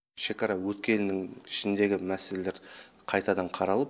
шекара өткелінің ішіндегі мәселелер қайтадан қаралып